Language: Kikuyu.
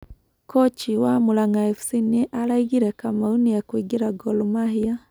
Kochi wa Muranga fc nĩ araigire Kamau nĩekũingira Gor Mahia.